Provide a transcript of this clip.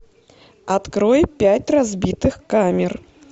открой пять разбитых камер